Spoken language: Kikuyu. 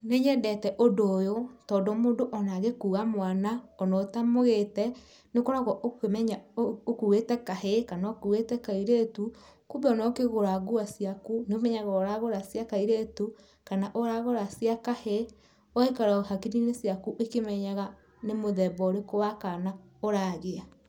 Nĩ nyendete ũndũ ũyũ, tondũ mũndũ ona angĩkua mwana, ona ũtamwonete nĩ ũkoragwo ũkĩmenya ũkuite kahĩ kana kairĩtu kumbe ona ũkĩgũra nguo ciaku, nĩ úmenyaga ũragũra cia kairĩtu, kana ũragũra cia kahĩĩ ,ũgaikara hakiri-inĩ ciaku ĩkimenyaga nĩ muthemba ũrĩku wa kana ũragĩa.